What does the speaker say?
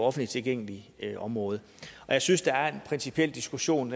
offentligt tilgængeligt område og jeg synes der er en principiel diskussion